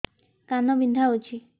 କାନ ବିନ୍ଧା ହଉଛି